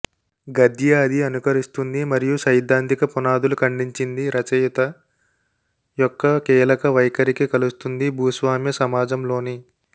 గద్య అది అనుకరిస్తుంది మరియు సైద్ధాంతిక పునాదులు ఖండించింది రచయిత యొక్క కీలక వైఖరికి కలుస్తుంది భూస్వామ్య సమాజంలోని